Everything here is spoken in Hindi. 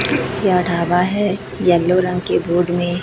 यह ढाबा है येलो रंग के बोर्ड में--